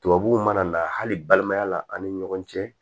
Tubabuw mana na hali balimaya la an ni ɲɔgɔn cɛ